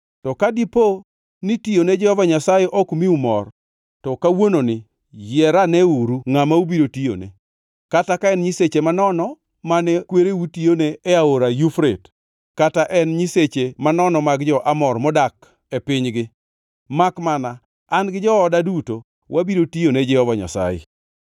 To ka dipo ni tiyone Jehova Nyasaye ok miu mor, to kawuononi yier aneuru ngʼama ubiro tiyone, kata ka en nyiseche manono mane kwereu tiyone e Aora Yufrate, kata en nyiseche manono mag jo-Amor, modak e pinygi. Makmana an gi jooda duto, wabiro tiyone Jehova Nyasaye.”